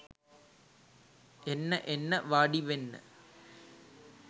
එන්න එන්න වාඩිවෙන්න